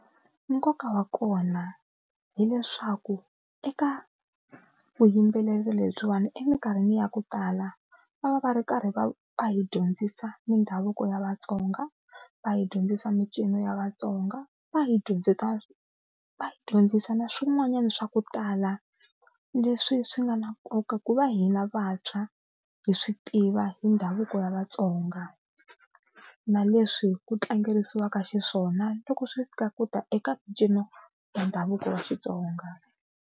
Nkoka wa kona hileswaku eka vuyimbeleri lebyiwani eminkarhini ya ku tala va va va ri karhi va va hi dyondzisa mindhavuko ya Vatsonga, va hi dyondzisa mincino ya Vatsonga, va hi dyondzisa va dyondzisa na swin'wanyana swa ku tala leswi swi nga na nkoka ku va hina vantshwa hi swi tiva hi ndhavuko wa Vatsonga na leswi ku tlangeriwaka xiswona loko swi fika ku ta eka mincino ya ndhavuko wa Xitsonga.